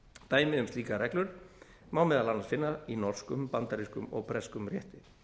dæmi um slíkar reglur má meðal annars finna í norskum bandarískum og breskum rétti